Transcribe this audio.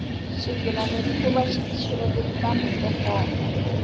xigilamikhuva xi tshwile tintambhu to komba